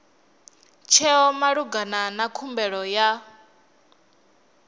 tsheo malugana na khumbelo ya